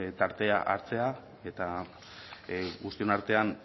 tartea hartzea eta guztion artean